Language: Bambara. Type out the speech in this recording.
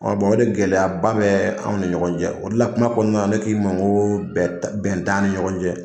o de gɛlɛyaba bɛ anw ni ɲɔgɔn cɛ o de la kuma kɔnɔna na ne k'i ma ko bɛn t'an bɛn t'an ni ɲɔgɔn cɛ.